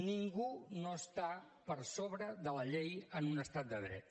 ningú no està per sobre de la llei en un estat de dret